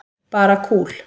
Bara kúl.